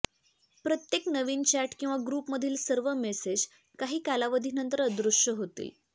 प्रत्येक नवीन चॅट किंवा ग्रुपमधील सर्व मेसेज काही कालावधीनंतर अदृश्य होतील